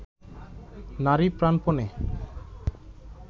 নারী প্রাণপণে